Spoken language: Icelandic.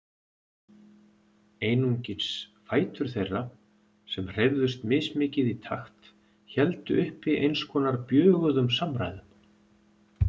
Einungis fætur þeirra, sem hreyfðust mismikið í takt, héldu uppi eins konar bjöguðum samræðum.